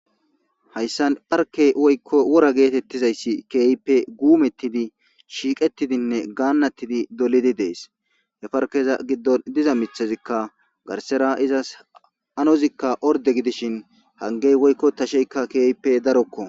Haysan parke woyko wora getetizaysi heipe gunotidi shiqetidine ganatidi dolidi des.he parkeza gidon diza mithazika garsera ezas diza anozika hangey woyko tasheyka kehipe daroko